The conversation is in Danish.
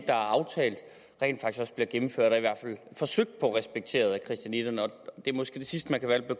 er aftalt rent faktisk også bliver gennemført og i hvert fald forsøgt respekteret af christianitterne det er måske det sidste man kan være